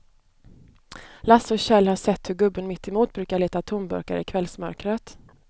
Lasse och Kjell har sett hur gubben mittemot brukar leta tomburkar i kvällsmörkret.